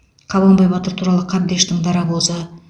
қабанбай батыр туралы қабдештің дарабозы